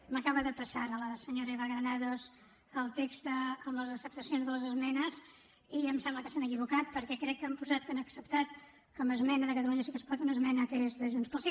m’acaba de passar ara la senyora eva granados el text amb les acceptacions de les esmenes i em sembla que s’han equivocat perquè crec que han posat que han acceptat com a esmena de catalunya sí que es pot una esmena que és de junts pel sí